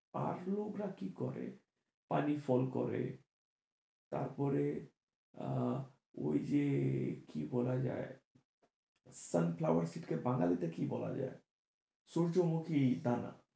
আর লোকরা কি করে, পানিফল করে তারপরে আহ ওই যে কি বলা যায় sunflower কে বাঙালি তে কি বলা যায় সূর্য্যমুখী দানা।